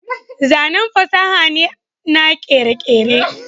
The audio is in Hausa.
zanen fasaha ne na kere-kere